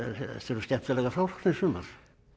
eru skemmtilegar frásagnir sumar